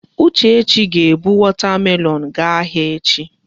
Uchechi ga-ebu wọta melọọnụ gaa ahịa echi.